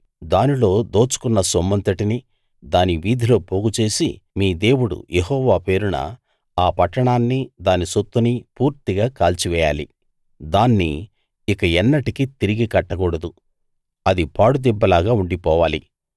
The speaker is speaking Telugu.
దానిలో దోచుకున్న సొమ్మంతటినీ దాని వీధిలో పోగుచేసి మీ దేవుడు యెహోవా పేరున ఆ పట్టణాన్ని దాని సొత్తునీ పూర్తిగా కాల్చివేయాలి దాన్ని ఇక ఎన్నటికీ తిరిగి కట్టకూడదు అది పాడుదిబ్బలాగా ఉండిపోవాలి